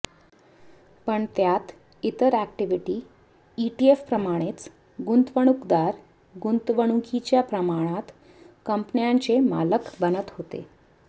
पण त्यात इतर इक्विटी ईटीएफप्रमाणेच गुंतवणूकदार गुंतवणुकीच्या प्रमाणात कंपन्यांचे मालक बनत होते